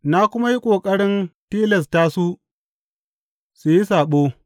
Na kuma yi ƙoƙarin tilasta su su yi saɓo.